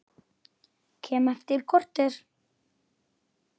Kem eftir korter!